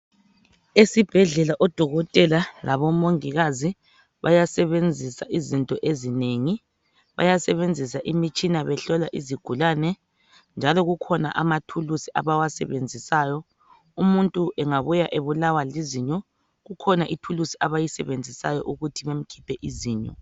Esibhedlela odokotela labo mongikazi bayasebenzisa izinto ezinengi bayasebenzisa imitshina behlola eizigulani njalo kulama thulusi abawasebenzisayo behlola izigulani umuntu engabuya ebulawa lizinyo ikhona ithulusi abayisebenzisayo ukukhipha izinyo